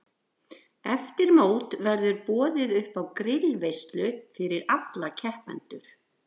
Eftir mót verður boðið uppá grillveislu fyrir alla keppendur.